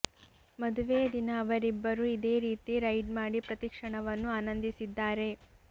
ಮದುವೆಯ ದಿನ ಅವರಿಬ್ಬರು ಇದೇ ರೀತಿ ರೈಡ್ ಮಾಡಿ ಪ್ರತೀ ಕ್ಷಣವನ್ನು ಆನಂದಿಸಿದ್ದಾರೆ